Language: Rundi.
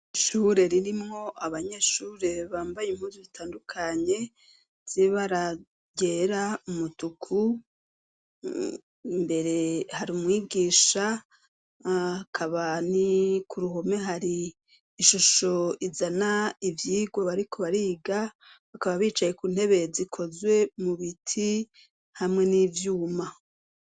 Ishure ririmwo abanyeshure bambaye impunzu zitandukanye z'ibara ryera, umutuku, imbere hari umwigisha, hakaba ku ruhome hari ishusho izana ivyigwa bariko bariga, bakaba bicaye ku ntebe zikozwe mu biti hamwe n'ivyuma.